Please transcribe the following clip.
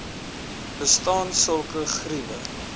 bestaan sulke geriewe